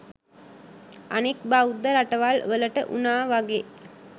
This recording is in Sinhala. අනික් බෞද්ධ රටවල් වලට උනා වගේ